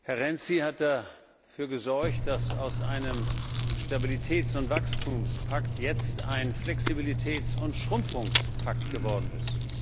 Herr Renzi hat dafür gesorgt, dass aus einem Stabilitäts und Wachstumspakt jetzt ein Flexibilitäts und Schrumpfungspakt geworden ist.